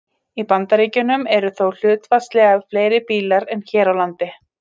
Í Bandaríkjunum eru þó hlutfallslega fleiri bílar en hér á landi.